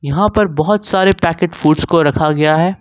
यहां पर बहुत सारे पैकेट फूड्स को रखा गया है।